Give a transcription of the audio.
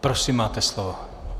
Prosím, máte slovo.